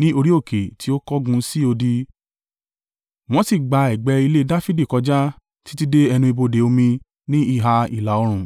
ní orí òkè tí ó kángun sí odi, wọ́n sì gba ẹ̀gbẹ́ ilé Dafidi kọjá títí dé ẹnu ibodè omi ní ìhà ìlà-oòrùn.